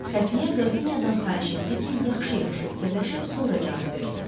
Xəfiyə Qrafinyadan xahiş etdi ki, yaxşı-yaxşı fikirləşib sonra cavab versin.